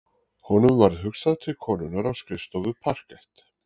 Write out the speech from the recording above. Honum varð hugsað til konunnar á skrifstofu parkett